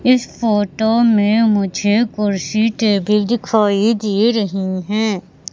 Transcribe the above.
इस फोटो में मुझे कुर्सी टेबिल दिखाई दे रही है।